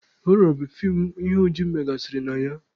Họrọ bụ feem ihe ụjọ megasịrị na ya.